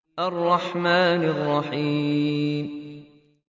الرَّحْمَٰنِ الرَّحِيمِ